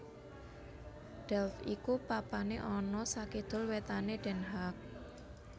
Delft iku papané ana sakidul wétané Den Haag